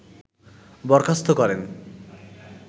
বরখাস্ত করেন